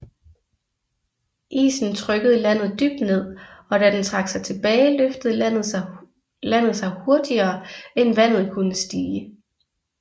Isen trykkede landet dybt ned og da den trak sig tilbage løftede landet sig hurtigere end vandet kunne stige